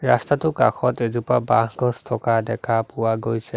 ৰাস্তাটো কাষত এজোপা বাঁহ গছ থকা দেখা পোৱা গৈছে।